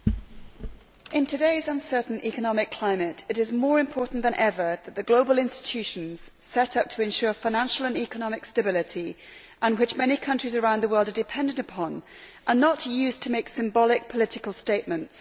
Madam President, in today's uncertain economic climate, it is more important than ever that the global institutions set up to ensure financial and economic stability, which many countries around the world are dependent upon, are not used to make symbolic political statements.